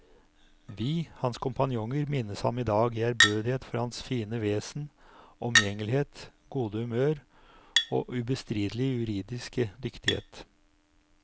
Vi, hans kompanjonger, minnes ham i dag i ærbødighet for hans fine vesen, omgjengelighet, gode humør og ubestridelige juridiske dyktighet.